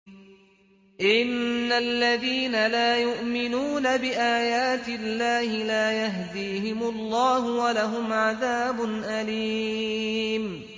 إِنَّ الَّذِينَ لَا يُؤْمِنُونَ بِآيَاتِ اللَّهِ لَا يَهْدِيهِمُ اللَّهُ وَلَهُمْ عَذَابٌ أَلِيمٌ